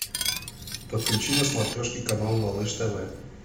подключи на смотрешке канал малыш тв